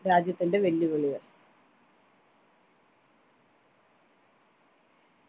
രാജ്യത്തിൻ്റെ വെല്ലുവിളികൾ